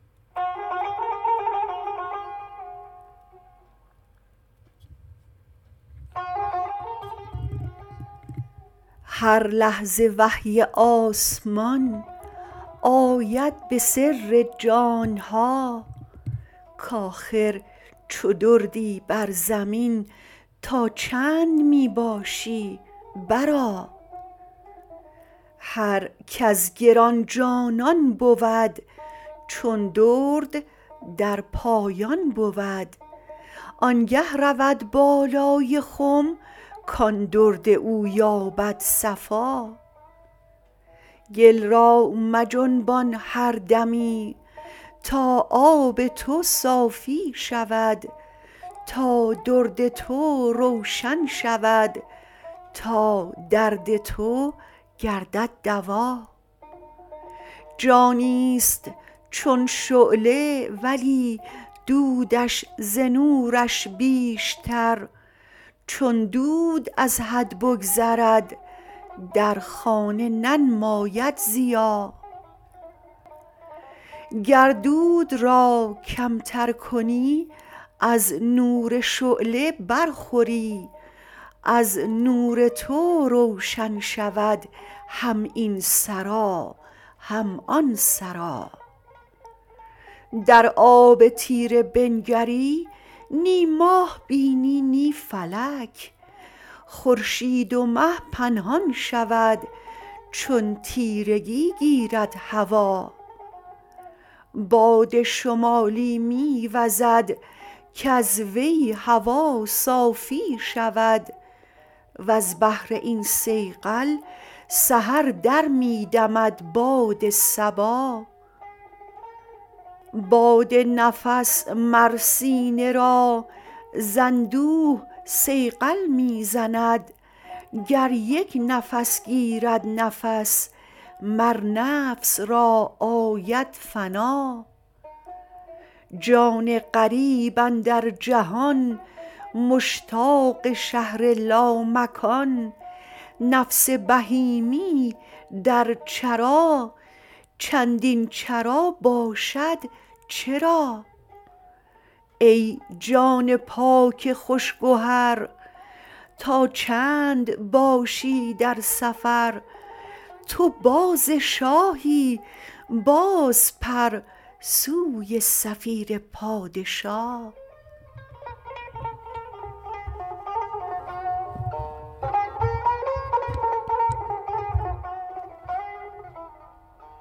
هر لحظه وحی آسمان آید به سر جان ها کاخر چو دردی بر زمین تا چند می باشی برآ هر کز گران جانان بود چون درد در پایان بود آنگه رود بالای خم کان درد او یابد صفا گل را مجنبان هر دمی تا آب تو صافی شود تا درد تو روشن شود تا درد تو گردد دوا جانیست چون شعله ولی دودش ز نورش بیشتر چون دود از حد بگذرد در خانه ننماید ضیا گر دود را کمتر کنی از نور شعله برخوری از نور تو روشن شود هم این سرا هم آن سرا در آب تیره بنگری نی ماه بینی نی فلک خورشید و مه پنهان شود چون تیرگی گیرد هوا باد شمالی می وزد کز وی هوا صافی شود وز بهر این صیقل سحر در می دمد باد صبا باد نفس مر سینه را ز اندوه صیقل می زند گر یک نفس گیرد نفس مر نفس را آید فنا جان غریب اندر جهان مشتاق شهر لامکان نفس بهیمی در چرا چندین چرا باشد چرا ای جان پاک خوش گهر تا چند باشی در سفر تو باز شاهی بازپر سوی صفیر پادشا